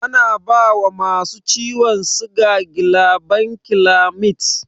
Ana bawa masu ciwon siga gilabankilamid.